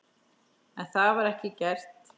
En það var ekki gert.